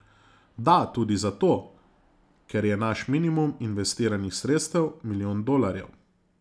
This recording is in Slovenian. Da, tudi zato, ker je naš minimum investiranih sredstev milijon dolarjev.